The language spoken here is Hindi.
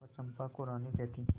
वह चंपा को रानी कहती